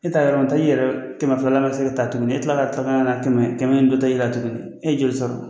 E taa yɔrɔ taa i yɛrɛ kɛmɛ filala ka se ka taa tugunni ni kila la tɛmɛ kana tuguni kɛmɛ bɛ ta yira tugunni e ye joli sɔrɔ.